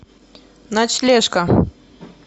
ночлежка